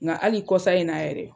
Ŋa hali kɔsan in na yɛrɛ